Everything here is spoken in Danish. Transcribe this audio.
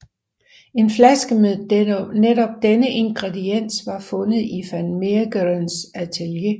En flaske med netop denne ingrediens var fundet i van Meegerens atelier